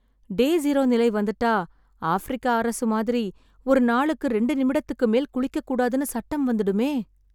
டே zero நிலை வந்துட்டா, Africa அரசு மாதிரி, ஒரு நாளுக்கு ரெண்டு நிமிடத்துக்கு மேல் குளிக்கக்கூடாதுன்னு சட்டம் வந்துடுமே..